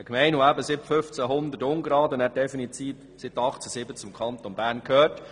Eine Gemeinde, die seit ungefähr 1500 zu Bern und dann seit 1807 definitiv zum Kanton gehörte.